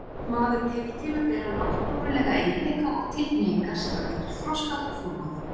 Maðurinn hefur til að bera náttúrulega eiginleika og tilhneigingar sem hann getur þroskað og þróað.